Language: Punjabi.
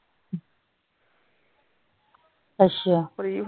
ਅੱਛਾ freefire